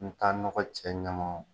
N' n nɔgɔ cɛ ɲɛ